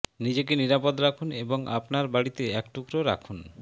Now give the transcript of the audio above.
নিজেকে নিরাপদ রাখুন এবং আপনার বাড়িতে এক টুকরা রাখুন